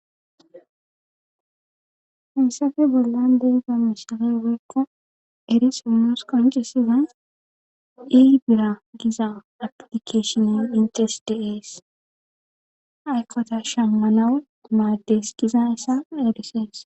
hesappe bollan de'iza mishata nus beyikko eri simoos qoncisiza eiy bira giza aplikeshinen intesdes aykkota shammanawo maaddes giza issa edises